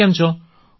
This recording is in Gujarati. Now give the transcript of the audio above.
તમે કેમ છો